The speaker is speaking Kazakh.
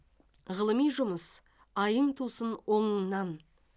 ғылыми жұмыс айың тусын оңыңнан